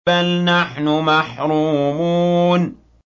بَلْ نَحْنُ مَحْرُومُونَ